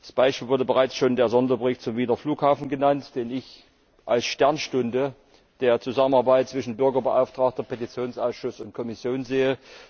Als Beispiel wurde bereits der Sonderbericht zum Wiener Flughafen genannt, den ich als Sternstunde der Zusammenarbeit zwischen Bürgerbeauftragtem, Petitionsausschuss und Kommission sehe.